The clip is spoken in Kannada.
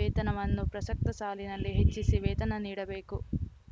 ವೇತನವನ್ನು ಪ್ರಸಕ್ತ ಸಾಲಿನಲ್ಲಿ ಹೆಚ್ಚಿಸಿ ವೇತನ ನೀಡಬೇಕು